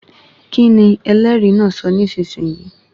Kíni ẹlẹ́rìí náà sọ nísisìnyí?